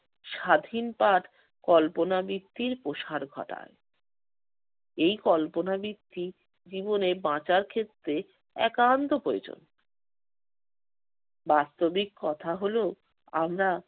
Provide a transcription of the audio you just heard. স্বাধীন পাঠ কল্পনাবৃত্তির প্রসার ঘটায়। এই কল্পনাবৃত্তি জীবনে বাঁচার ক্ষেত্রে একান্ত প্রয়োজন। বাস্তবিক কথা হলো আমরা